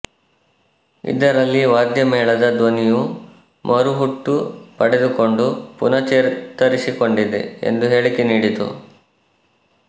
ಇದರಲ್ಲಿ ವಾದ್ಯಮೇಳದ ಧ್ವನಿಯು ಮರುಹುಟ್ಟು ಪಡೆದುಕೊಂಡು ಪುನಃಚೇತರಿಸಿಕೊಂಡಿದೆ ಎಂದು ಹೇಳಿಕೆ ನೀಡಿತು